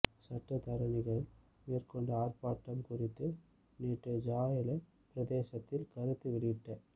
சட்டத்தரணிகள் மேற்கொண்ட ஆர்ப்பாட்டம் குறித்து நேற்று ஜாஎல பிரதேசத்தில் கருத்து வெளியிட்ட